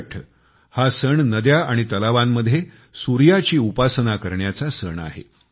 छठ हा सण नद्या तलावांमध्ये सूर्याची उपासना करण्याचा सण आहे